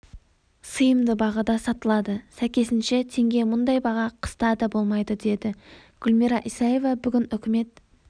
сыйымды бағада сатылады сәйкесінше теңге мұндай баға қыста да болмайды деді гүлмира исаева бүгін үкімет